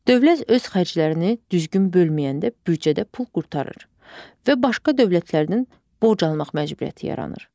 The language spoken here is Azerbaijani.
Dövlət öz xərclərini düzgün bölməyəndə büdcədə pul qurtarır və başqa dövlətlərdən borc almaq məcburiyyəti yaranır.